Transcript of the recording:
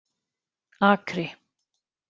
Akri